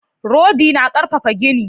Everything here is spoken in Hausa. Rodi na karfafa gini